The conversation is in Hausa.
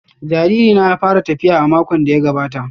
Jariri na ya fara tafiya a makon da ya gabata